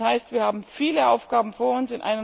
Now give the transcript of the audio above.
Das heißt, wir haben viele Aufgaben vor uns.